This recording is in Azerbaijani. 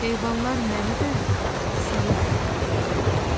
Heyvanlar məni də, səni də yedirirlər."